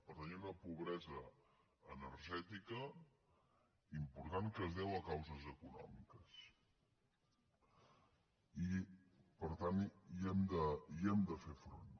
per tant hi ha una pobresa energètica important que es deu a causes econòmiques i per tant hi hem de fer front